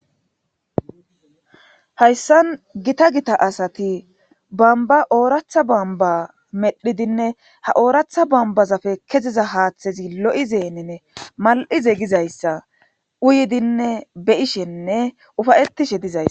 hayssan gita gita asati bamba ooratha bamba medhidinne ha ooratha bambazapfe keziza haaththezi lo'izeeninne mal'ize gizayssa uyidinne be'ishenne ufayette'ishe dizays